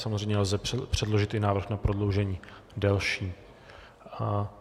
Samozřejmě lze předložit i návrh na prodloužení delší.